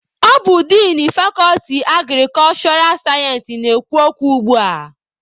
Ọ bụ din fakọlti agrikulshura sayensị na-ekwu okwu ugbua.